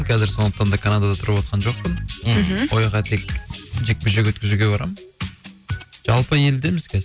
қазір сондықтан да канадада тұрып атқан жоқпын мхм ояққа тек жекпе жек өткізуге барамын жалпы елдеміз қазір